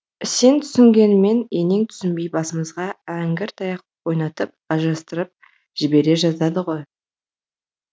сен түсінгенмен енең түсінбей басымызға әңгіртаяқ ойнатып ажырастырып жібере жаздады ғой